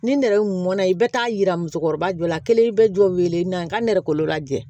Ni nɛrɛmɔna i bɛ taa yira musokɔrɔba jɔ la kelen bɛ jɔ weele n'an ka nɛgɛkɔrɔla jɛ